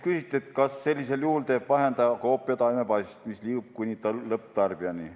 Küsiti, kas sellisel juhul teeb vahendaja koopia taimepassist, mis liigub kuni lõpptarbijani.